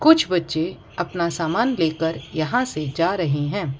कुछ बच्चे अपना सामान लेकर यहां से जा रहें हैं।